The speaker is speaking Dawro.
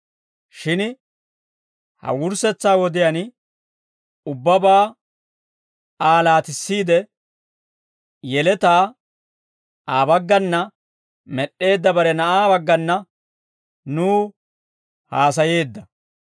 Shin ha wurssetsa wodiyaan, ubbabaa Aa laatissiide, yeletaa Aa baggana med'd'eedda bare Na'aa baggana nuw haasayeedda.